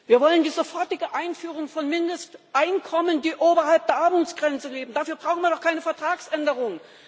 Wir wollen die sofortige Einführung von Mindesteinkommen, die oberhalb der Armutsgrenze liegen dafür brauchen wir doch keine Vertragsänderung!